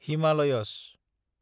Himalayas